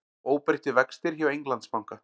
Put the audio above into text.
Óbreyttir vextir hjá Englandsbanka